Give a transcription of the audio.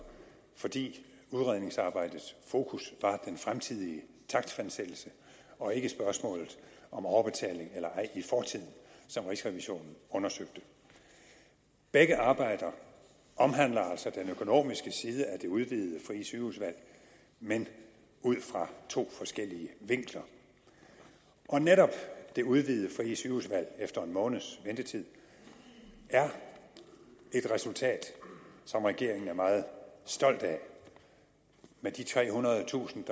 fordi udredningsarbejdets fokus var den fremtidige takstfastsættelse og ikke spørgsmålet om overbetaling eller ej i fortiden som rigsrevisionen undersøgte begge arbejder omhandler altså den økonomiske side af det udvidede frie sygehusvalg men ud fra to forskellige vinkler netop det udvidede frie sygehusvalg efter en måneds ventetid er et resultat som regeringen er meget stolt af med de trehundredetusind